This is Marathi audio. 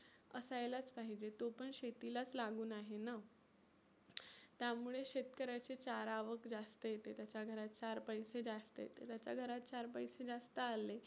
असायलाच पाहीजे. तो पण शेतीलाच लागुन आहे ना. त्यामुळे शेतकऱ्याचा चारा जास्त येते त्याच्या घरात चार पैसे जास्त येते. त्याच्या घरात चार पैसे जास्त आले